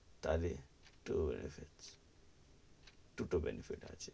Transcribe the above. তাহলে two benefits দুটো benefits আছে,